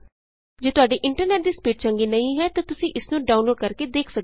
ਜੇ ਤੁਹਾਡੇ ਇੰਟਰਨੈਟ ਦੀ ਸਪੀਡ ਚੰਗੀ ਨਹੀਂ ਹੈ ਤਾਂ ਤੁਸੀਂ ਇਸ ਨੂੰ ਡਾਊਨਲੋਡ ਕਰਕੇ ਦੇਖ ਸਕਦੇ ਹੋ